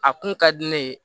A kun ka di ne ye